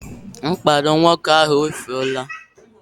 Mkpado nwoke ahụ efuola